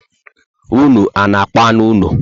Ụnụ ana akpa anụ úlọ?